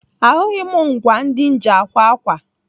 Ahụghị m ngwaa ndị m ji akwa ákwà.